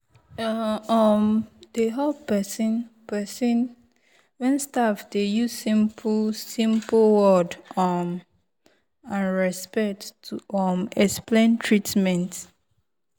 e um dey help person person wen staff dey use simple-simple word um and respect to um explain treatment.